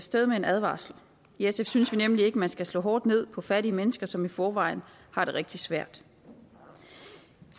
sted med en advarsel i sf synes vi nemlig ikke man skal slå hårdt ned på fattige mennesker som i forvejen har det rigtig svært